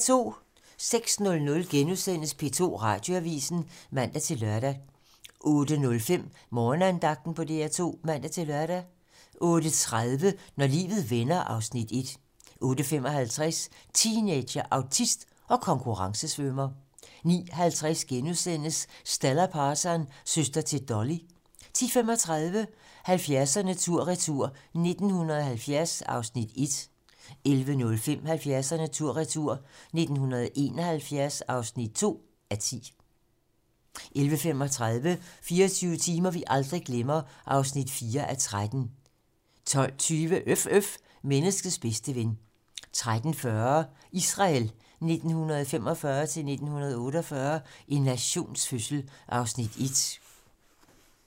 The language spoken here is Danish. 08:00: P2 Radioavisen *(man-lør) 08:05: Morgenandagten på DR2 (man-lør) 08:30: Når livet vender (Afs. 1) 08:55: Teenager, autist og konkurrencesvømmer 09:50: Stella Parton - søster til Dolly * 10:35: 70'erne tur retur: 1970 (1:10) 11:05: 70'erne tur retur: 1971 (2:10) 11:35: 24 timer, vi aldrig glemmer (4:13) 12:20: Øf øf - menneskets bedste ven 13:40: Israel 1945-1948 - en nations fødsel (1:2)